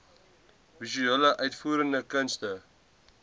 visuele uitvoerende kunste